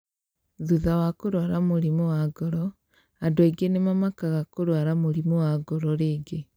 Thutha wa kũrũara mũrimũ wa ngoro, andũ aingĩ nĩ mamakaga kũrũara mũrimũ wa ngoro rĩngĩ.